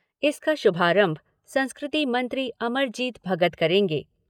इसका शुभारंभ संस्कृति मंत्री, अमरजीत भगत करेंगे।